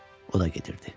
O da gedirdi.